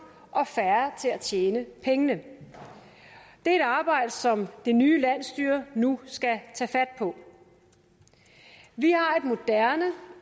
og færre til at tjene pengene det er et arbejde som det nye landsstyre nu skal tage fat på vi har et moderne